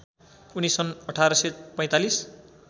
उनी सन् १८४५